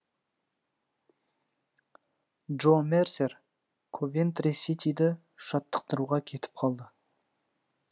джо мерсер ковентри ситиді жаттықтыруға кетіп қалды